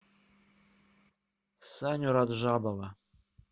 саню раджабова